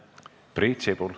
Priit Sibul.